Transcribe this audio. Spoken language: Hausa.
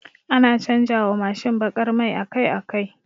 Ana canja wa Mashin bakar mai akai akai